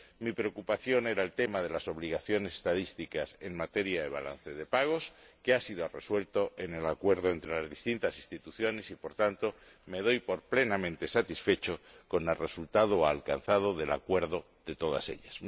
Mi preocupación era el tema de las obligaciones estadísticas en materia de balanza de pagos que ha sido resuelto en el acuerdo entre las distintas instituciones y, por tanto, me doy por plenamente satisfecho con el resultado alcanzado con el acuerdo de todas ellas.